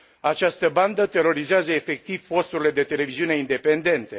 Această bandă terorizează efectiv posturile de televiziune independente.